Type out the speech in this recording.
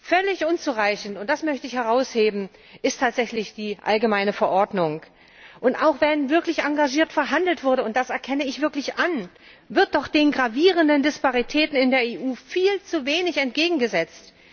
Völlig unzureichend, und das möchte ich herausheben, ist tatsächlich die allgemeine Verordnung. Und auch wenn wirklich engagiert verhandelt wurde, und das erkenne ich wirklich an, wird doch den gravierenden Disparitäten in der EU viel zu wenig entgegengesetzt.